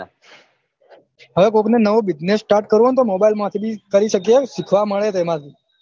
હવે કોક ને નવો business start કરવો હોય તો mobile માંથી ભી કરી શકે શીખવા મળે તેમાંથી